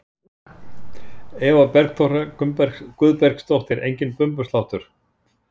Eva Bergþóra Guðbergsdóttir: Enginn bumbusláttur?